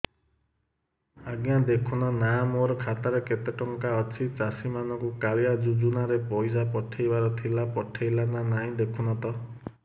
ଆଜ୍ଞା ଦେଖୁନ ନା ମୋର ଖାତାରେ କେତେ ଟଙ୍କା ଅଛି ଚାଷୀ ମାନଙ୍କୁ କାଳିଆ ଯୁଜୁନା ରେ ପଇସା ପଠେଇବାର ଥିଲା ପଠେଇଲା ନା ନାଇଁ ଦେଖୁନ ତ